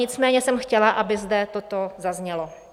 Nicméně jsem chtěla, aby zde toto zaznělo.